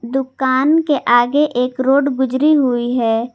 दुकान के आगे एक रोड गुजरी हुई है।